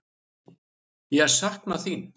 Ég sakna þín.